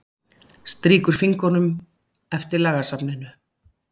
Strýkur fingrunum eftir lagasafninu.